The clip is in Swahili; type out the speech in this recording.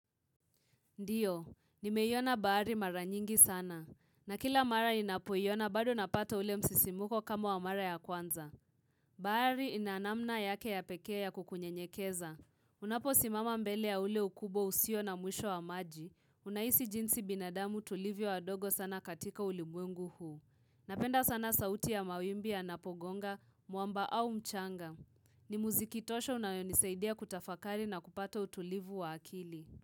Ndio, nimeiona bahari mara nyingi sana. Na kila mara ninapoiona bado napata ule msisimuko kama wa mara ya kwanza. Baari ina namna yake ya pekee ya kukunye nyekeza. Unapo simama mbele ya ule ukubo usio na mwisho wa maji. Unaisi jinsi binadamu tulivyo wadogo sana katika ulimwengu huu. Napenda sana sauti ya mawimbi ya yanapogonga, mwamba au mchanga. Ni muzikitosho unayonisaidia kutafakari na kupata utulivu wa akili.